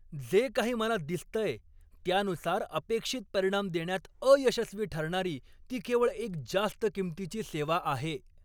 जे काही मला दिसतंय त्यानुसार, अपेक्षित परिणाम देण्यात अयशस्वी ठरणारी ती केवळ एक जास्त किंमतीची सेवा आहे!